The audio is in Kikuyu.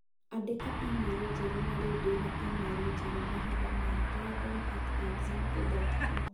Andĩka e-mail njerũ na rĩu ndĩ na e-mail njerũ mahinda maya Brandon at example dot com